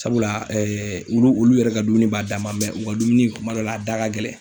Sabula ɛɛ olu olu yɛrɛ ka dumuni b'a dan ma mɛ u ka dumuni kuma dɔ la a da ka gɛlɛ